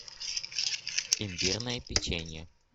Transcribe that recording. имбирное печенье